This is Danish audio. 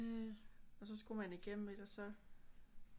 Øh og så skulle man igennem et og så